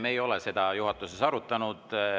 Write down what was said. Me ei ole seda juhatuses arutanud.